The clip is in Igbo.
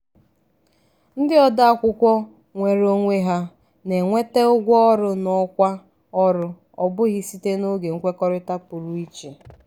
ndị ode akwụkwọ nweere onwe ha na-enweta ụgwọ ọrụ n’ọkwa ọrụ ọ bụghị site n’oge nkwekọrịta pụrụ iche.